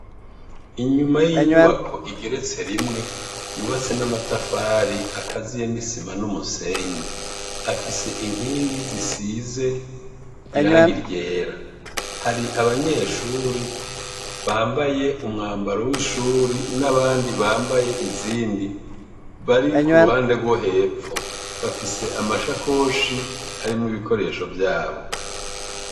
Inyuma y'inyubako igeretse rimwe yubatse n'amatafari akaziye n'isima, afise inkingi isize irangi ryera, hari abanyeshuri bambaye umwambaro w'ishure, n'abandi bambaye izindi bari k'uruhande rwohepfo ,bafise amasakoshi arimwo ibikoresho vyabo.